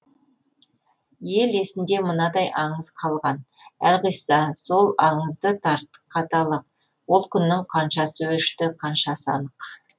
ел есінде мынадай аңыз қалған әлқисса сол аңызды тарқаталық ол күннің қаншасы өшті қаншасы анық